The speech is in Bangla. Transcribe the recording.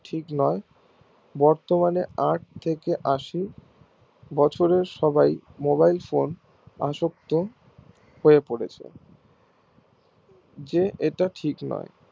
ঠিক নোই বর্তমানে আট থেকে আসি বছরের সবাই mobile phone এ আসক্ত হয় পড়েছে যে এটা ঠিক নোই